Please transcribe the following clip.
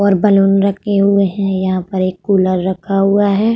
और बलून रखे हुए हैं। यहाँ पर एक कूलर रखा हुआ है।